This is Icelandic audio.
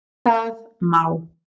Það má